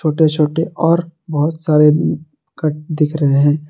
छोटे छोटे और बहुत सारे कट दिख रहे हैं।